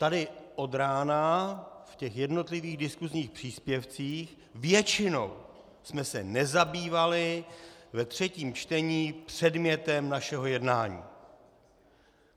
Tady od rána v těch jednotlivých diskusních příspěvcích většinou jsme se nezabývali ve třetím čtení předmětem našeho jednání.